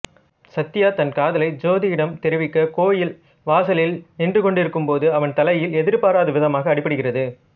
சத்யா தன் காதலை ஜோதியிடம் தெரிவிக்க கோயில் வாசலில் நின்றுகொண்டிருக்கும் போது அவன் தலையில் எதிர்பாராவிதமாக அடிபடுகிறது